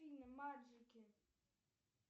маджики